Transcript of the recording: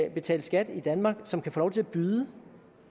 at betale skat i danmark som kan få lov til at byde